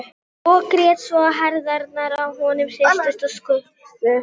Og grét svo að herðarnar á honum hristust og skulfu.